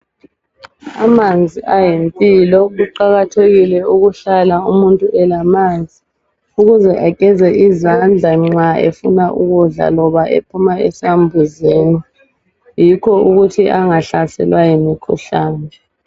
Amanzi ayimpilo kuqakathekile ukuthi ukuhlala umuntu elamanzi ukuze ageze izandla nxa efuna ukudla loba ephuma esambuzini yikho ukuthi angahlaselwa yimikhuhlane.